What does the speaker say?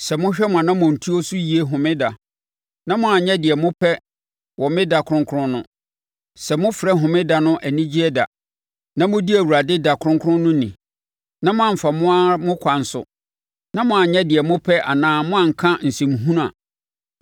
“Sɛ mohwɛ mo anammɔntuo so yie Homeda na moannyɛ deɛ mopɛ wɔ me da kronkron no, sɛ mofrɛ Homeda no anigyeɛ da na modi Awurade da kronkron no ni na moamfa mo ara mo akwan so na moanyɛ deɛ mopɛ anaa moanka nsɛmhunu a,